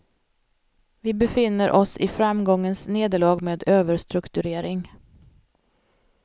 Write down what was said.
Vi befinner oss i framgångens nederlag med överstrukturering.